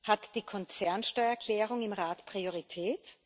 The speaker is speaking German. Hat die Konzernsteuererklärung im Rat Priorität?